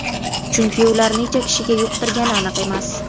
Chunki ular necha kishiga yuqtirgani aniq emas.